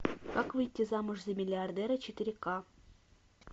как выйти замуж за миллиардера четыре ка